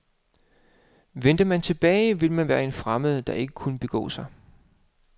Vendte man tilbage, ville man være en fremmed, der ikke kunne begå sig.